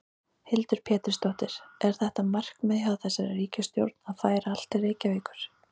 Hildur Pétursdóttir: Er þetta markmið hjá þessari ríkisstjórn að færa allt til Reykjavíkur?